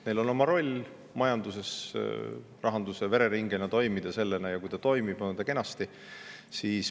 Neil on oma roll majanduses rahanduse vereringena ja kui see nii toimib, on kenasti.